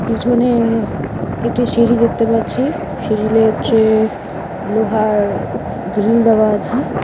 পিছনে একটি সিঁড়ি দেখতে পাচ্ছি সিঁড়িল হচ্ছে লোহার গ্রিল দেওয়া আছে।